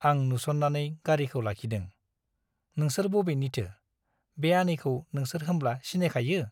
आं नुस'ननानै गारीखौ लाखिदों । नोंसोर बबेनिथो ? बे आनैखौ नोंसोर होमब्ला सिनायखायो ?